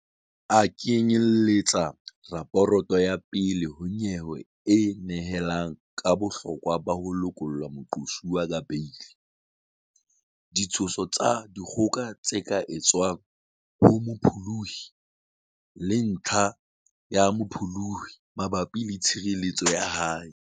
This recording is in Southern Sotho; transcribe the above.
A knye-lletsa raporoto ya pele ho nyewe e nehelang ka bohlokwa ba ho lokolla moqosuwa ka beili, ditsho-so tsa dikgoka tse ka etswang ho mopholohi, le ntlha ya mopholohi mabapi le tshireletseho ya hae.